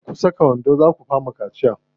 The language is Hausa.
Kar ku saka wando, zaa ku fama ciwon kaciya.